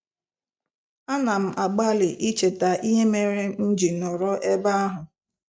A na m agbalị icheta ihe mere m ji nọrọ ebe ahụ.